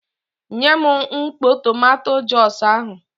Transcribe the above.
Nyem mkpọ tomanto jọs ahụ!